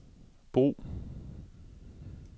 brug